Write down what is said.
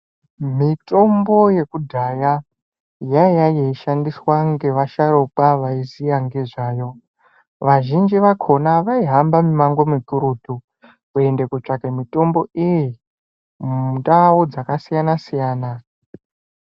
Mitombo yekudhaya yaiya yeishandiswa ngevasharukwa vaiziya ngezvayo. Vazhinji vakhona vaihamba mimango mikurutu, kuende kootsvake mitombo iyi, mundau dzakasiyana-siyana.